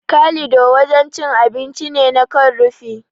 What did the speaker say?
Kalido wajen cin abinci ne na kan rufi.